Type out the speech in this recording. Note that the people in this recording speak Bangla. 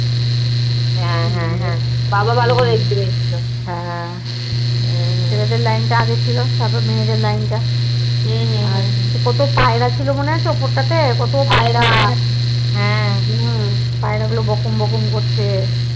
হম পায়রা গুলো বকুম বকুম করছে